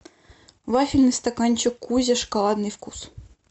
вафельный стаканчик кузя шоколадный вкус